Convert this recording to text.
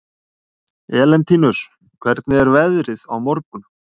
Elentínus, hvernig er veðrið á morgun?